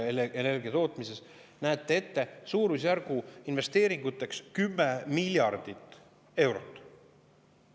Suurusjärguna investeeringuteks 10 miljardit eurot.